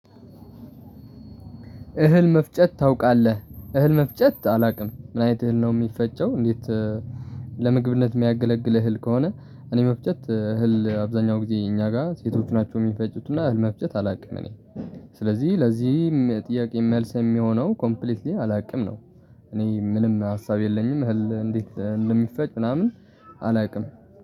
እህል መፍጨት ታውቃለህ እህል መፍጨት አላውቅም፤ ምን አይነት እህል ነው የሚፈጨው እንዴት ለምግብነት የሚያገለግል እህል ከሆነ እኔ መፍጨት እህል አብዛኛው ጊዜ እኛ ጋር ሴቶች ናቸው የሚፈጭቱና አህል መፍጀት አላውቅም እኔ፤ ስለዚህ ለዚህም ጥያቄ መልስ የሚሆነው ኮምፕሊትሊ አላውቅም ነው። እኔ ምንም ሀሳብ የለኝም እህል እንዴት እንደሚፈጭ ምናምን አላውቅም